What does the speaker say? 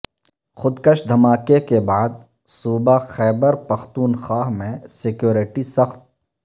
خودکش دھماکے کے بعد صوبہ خیبر پختونخواہ میں سکیورٹی سخت